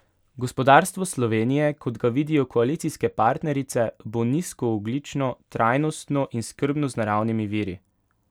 Gospodarstvo Slovenije, kot ga vidijo koalicijske partnerice, bo nizkoogljično, trajnostno in skrbno z naravnimi viri.